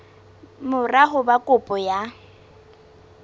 mora ho ba kopo ya